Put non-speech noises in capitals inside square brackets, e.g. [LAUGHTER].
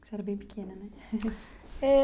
Você era bem pequena, né? [LAUGHS] É.